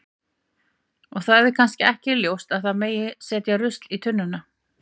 Og það er kannski ekki ljóst að það megi setja rusl í tunnuna.